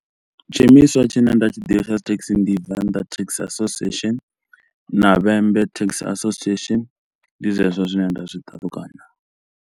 Tshiimiswa tshine nda tshi ḓivha tsha dzi thekhisi ndi Venḓa Taxi Association na Vhembe Taxi Association, ndi zwezwo zwine nda zwi talukanya.